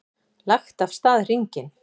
Lagt af stað hringinn